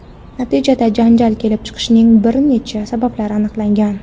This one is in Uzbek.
Natijada janjal kelib chiqishining bir nechta sabablari aniqlangan.